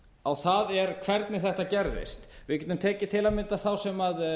á það hvernig þetta gerðist við getum tekið til að mynda þá sem